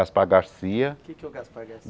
Gaspar Garcia O que é que é o Gaspar